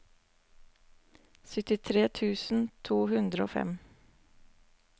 syttitre tusen to hundre og fem